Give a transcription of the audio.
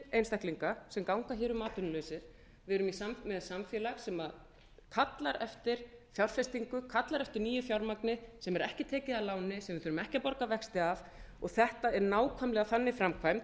einstaklinga sem ganga hér um atvinnulausir við erum með samfélag sem kallar eftir fjárfestingu kallar eftir nýju fjármagni sem verður ekki tekið að láni sem við þurfum ekki að borga vexti af þetta er nákvæmlega þannig framkvæmd